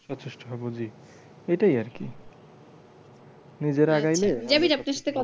সচেষ্টা হবো জি, এটাই আরকি নিজে